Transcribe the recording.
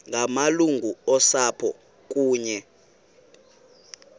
ngamalungu osapho kunye